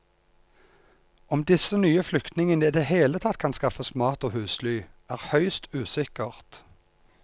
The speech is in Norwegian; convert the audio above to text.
Om disse nye flyktningene i det hele tatt kan skaffes mat og husly, er høyst usikkert.